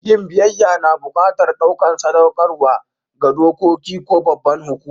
Yin biyyaya na buƙatan ɗukan sadakarwa ga doƙoki ko babban hukuma.